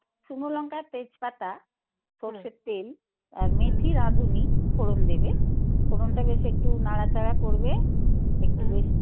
আর শুকো লঙ্কার তেজপাতা. সর্ষের তেল. আর মেথি রাঁধুনী, ফোড়ন দেবে. ফোড়নটা বেশ একটু নাড়াচাড়া করবে. একটু বেশ